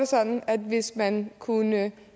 sådan at hvis man kunne